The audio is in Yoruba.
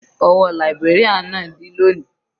Ọwọ́ librarian náà dí lóni.